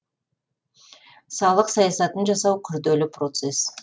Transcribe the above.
салық саясатын жасау күрделі процесс